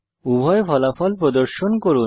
উভয় ফলাফল প্রদর্শন করুন